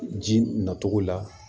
Ji nacogo la